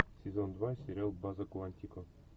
сезон два сериал база куантико